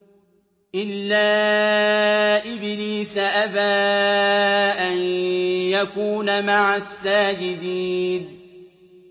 إِلَّا إِبْلِيسَ أَبَىٰ أَن يَكُونَ مَعَ السَّاجِدِينَ